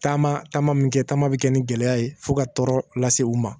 Taama taama min kɛ taama bɛ kɛ ni gɛlɛya ye fo ka tɔɔrɔ lase u ma